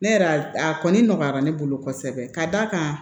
Ne yɛrɛ a kɔni nɔgɔyara ne bolo kosɛbɛ ka d'a kan